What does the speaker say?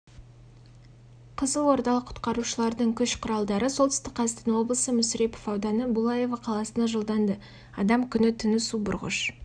жылғы сәуір күні өздерінің орналасқан орындарына оралған құтқарушыларды қызылорда облысы өрт сөндіру және авариялық жұмыстары қызметінің бастығы азаматтық қорғау полковнигі көкеевтің